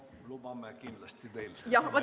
Lubame kindlasti teil oma ettekande lõpule viia.